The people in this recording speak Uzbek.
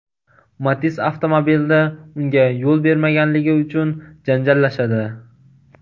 Matiz avtomobilida unga yo‘l bermaganligi uchun janjallashadi.